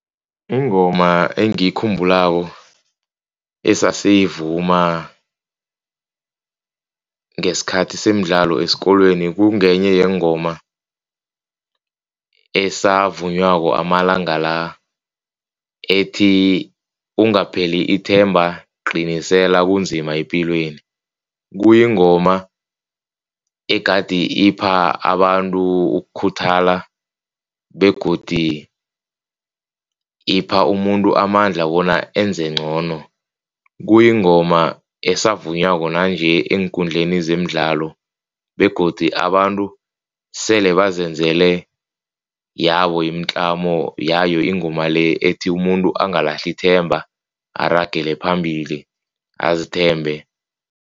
Ingoma engiyikhumbulako esasiyivuma ngesikhathi semidlalo esikolweni kungenye yeengoma esavunywako amalanga la ethi, ungapheli ithemba qinisele kunzima epilweni. Kuyingoma egade ipha abantu ukukhuthala begodu ipha umuntu amandla bona enze ngcono. Kuyingoma esavunywako nanje eenkundleni zemidlalo begodu abantu sele bazenzele yabo imitlamo yayo ingoma le ethi, umuntu angalahli ithemba aragele phambili azithembe.